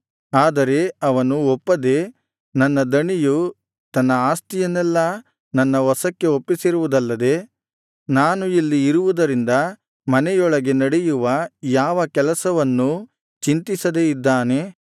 ಆದರೆ ಅವನು ಒಪ್ಪದೆ ನನ್ನ ದಣಿಯು ತನ್ನ ಆಸ್ತಿಯನ್ನೆಲ್ಲಾ ನನ್ನ ವಶಕ್ಕೆ ಒಪ್ಪಿಸಿರುವುದಲ್ಲದೆ ನಾನು ಇಲ್ಲಿ ಇರುವುದರಿಂದ ಮನೆಯೊಳಗೆ ನಡೆಯುವ ಯಾವ ಕೆಲಸವನ್ನೂ ಚಿಂತಿಸದೇ ಇದ್ದಾನೆ